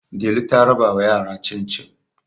Delu ta rabawa yara cin-cin